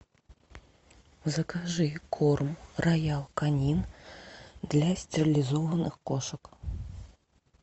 закажи корм роял канин для стерилизованных кошек